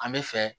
An bɛ fɛ